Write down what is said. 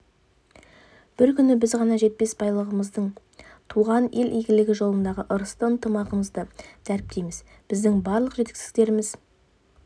бұл күні біз баға жетпес байлығымызды туған ел игілігі жолындағы ырысты ынтымағымызды дәріптейміз біздің барлық жетістіктеріміз